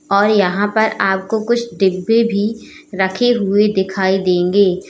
और यहां पर आपको कुछ डिब्बे भी रखे हुए दिखाई देंगे।